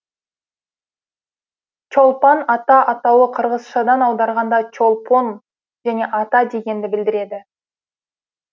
чолпон ата атауы қырғызшадан аударғанда чолпон және ата дегенді білдіреді